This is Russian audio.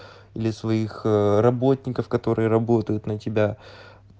для своих работников которые работают на тебя